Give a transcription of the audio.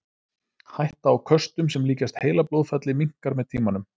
Hætta á köstum sem líkjast heilablóðfalli minnkar með tímanum.